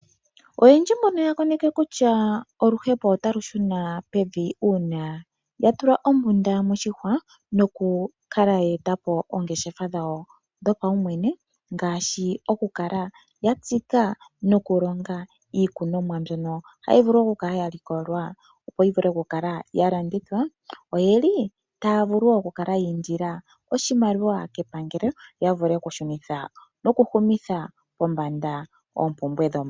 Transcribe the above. Oyendji mbono yakoneke kutya oluhepo otalushuna pevi una yatula ombunda moshihwa nokukala ya eta po oongeshefa dhawo dhopaumwene ngaashi okuka la yatsika nokulonga iikunomwa mbyono hayi vulu kukala yalikolwa opo yi vule kukala yalanditha oyeli taya vulu okukala yiindila oshimaliwa kepangelo yavule okushunitha nokuhumitha pombanda oompumbwe dhomuntu.